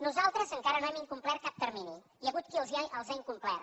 nosaltres encara no hem incomplert cap termini hi ha hagut qui els ha incomplert